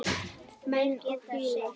Menn og fílar